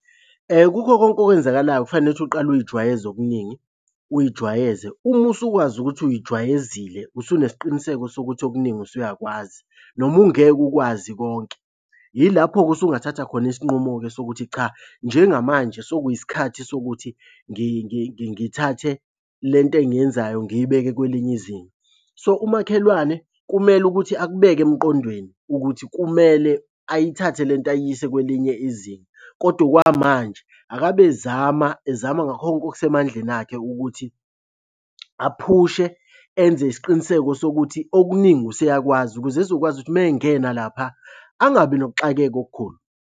Kukho konke okwenzakalayo kufanele ukuthi uqale uy'jwayeze okuningi uy'jwayeze. Uma usukwazi ukuthi uy'jwayezile, usunesiqiniseko sokuthi okuningi usuyakwazi noma ungeke ukwazi konke. Yilapho-ke usungathatha khona isinqumo-ke sokuthi cha, njengamanje sokuyisikhathi sokuthi ngithathe le nto engiyenzayo ngiyibeke kwelinye izinga. So, umakhelwane kumele ukuthi akubeke emqondweni ukuthi kumele ayithathe le nto ayiyise kwelinye izinga, kodwa okwamanje akabe ezama, ezama ngakho konke okusemandleni akhe ukuthi aphushe enze isiqiniseko sokuthi okuningi useyakwazi ukuze ezokwazi ukuthi uma engena laphaya angabi nokuxakeka okukhulu.